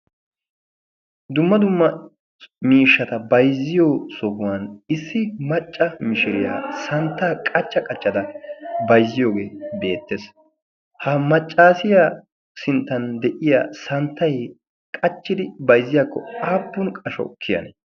dumma dumma miishshata bayzziyo sohuwan issi macca mishiriyaa santtaa qachca qaccada baizziyoogee beettees. ha maccaasiya sinttan deyiya santtai qachchidi bayzziyaakko aappun qasho kiyane?